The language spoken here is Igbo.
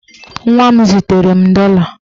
Nwa m zitere m dọla.